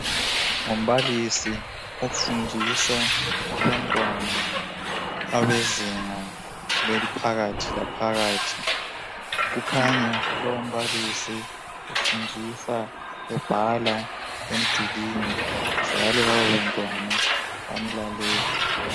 Umbalisi ofundisa abantwana abezinga eliphakathi laphakathi kukhanya lowu mbalisi ufundisa ebhala emdulini njalo laba bantwana bamlalele.